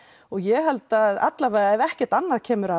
og ég held að allavega ef ekkert annað kemur